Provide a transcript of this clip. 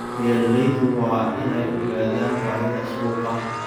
Beeraleydu waa inay ogaadaan baahida suuqa.